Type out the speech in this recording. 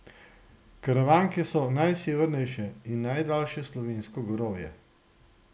Karavanke so najsevernejše in najdaljše slovensko gorovje.